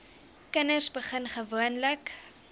kinders begin gewoonlik